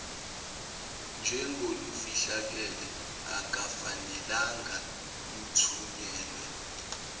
njengolufihlakele akufanelanga luthunyelwe